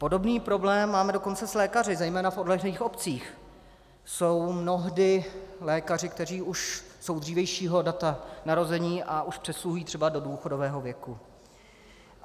Podobný problém máme dokonce s lékaři, zejména v odlehlých obcích jsou mnohdy lékaři, kteří už jsou dřívějšího data narození a už přesluhují třeba do důchodového věku.